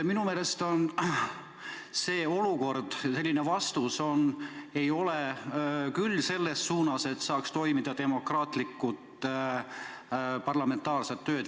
Minu meelest selline vastus ei ole küll selles suunas, et saaks toimuda demokraatlikud parlamentaarsed tööd.